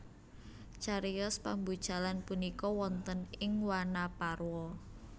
Cariyos pambucalan punika wonten ing Wanaparwa